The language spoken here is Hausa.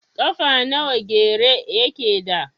Ƙafa nawa gyare yake da?